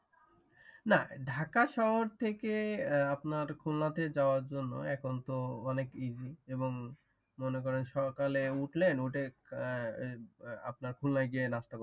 নাহ ঢাকা শহর থেকে আপনার খুলনাতে যাওয়ার জন্য এখন তো অনেক ইজি এবং মনে করেন সকালে উঠলে নোটেক আপনার খুলনায় গিয়ে নামতে পারবে